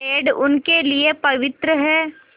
पेड़ उनके लिए पवित्र हैं